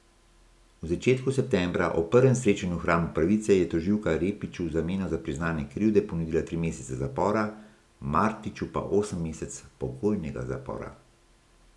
V začetku septembra, ob prvem srečanju v hramu pravice, je tožilka Repiću v zameno za priznanje krivde ponudila tri mesece zapora, Martiću pa osem mesecev pogojnega zapora.